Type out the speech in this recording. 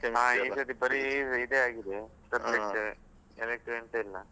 ಈಗದ್ದು ಬರೀ ಇದೆ ಆಗಿದೆ subject ಎಂತ ಇಲ್ಲ.